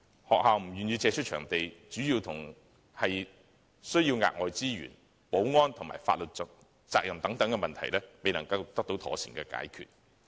學校不願意借出場地，主要是因為需要額外資源，而保安和法律責任等問題亦未能妥善解決。